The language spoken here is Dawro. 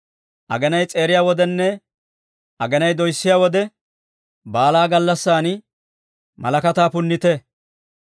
Aginay s'eeriya wodenne, aginay doyssiyaa wode baalaa gallassan malakataa punnite.